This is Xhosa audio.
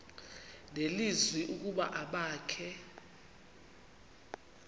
nelizwi ukuba abakhe